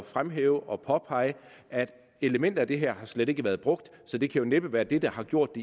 fremhæve og påpege at elementer af det her slet ikke har været brugt så det kan jo næppe være det der har gjort